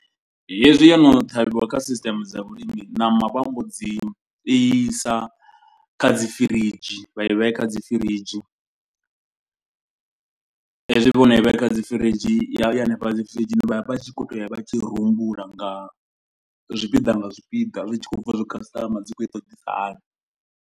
Hezwi yo no ṱhavhiwa kha sisteme dza vhulimi ṋama vha mbo dzi i sa kha dzi firidzhi vha i vhea kha dzi firidzhi. Hezwi vhono i vhea kha dzi firidzhi i hanefhaḽa kha dzi firidzhi vha vha tshi kho to ya vha tshi i rumbula nga zwipiḓa nga zwipiḓa. Zwi tshi khou bva zwi customer dzi khou i ṱoḓisa hani.